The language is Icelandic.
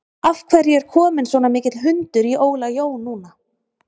Af hverju er kominn svona mikill hundur í Óla Jó núna?